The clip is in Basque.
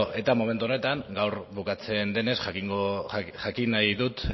eta momentu honetan gaur bukatzen denez jakin nahi dut